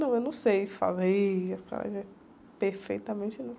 Não, eu não sei fazer acarajé, perfeitamente não.